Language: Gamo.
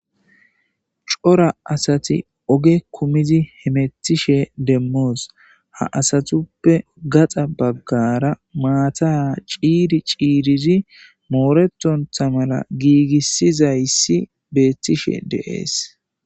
Cora asati oge kumizi hemetishe demmoos ha asatuppe gaxa baggara maata a ciiri ciirizi mooretontha mala giigissizayssi beettishe deees.